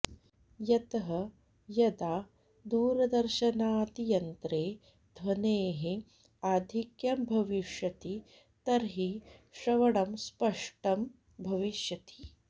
यतः यदा दूरदर्शनादियन्त्रे ध्वनेः आधिक्यं भविष्यति तर्हि श्रवणमस्पष्टं भविष्यति